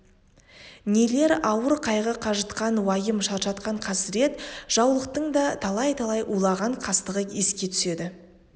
нелер ауыр қайғы қажытқан уайым шаршатқан қасірет жаулықтың да талай-талай уланған қастығы еске түседі